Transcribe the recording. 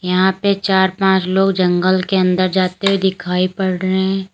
यहां पे चार पांच लोग जंगल के अंदर जाते हुए दिखाई पड़ रहे हैं।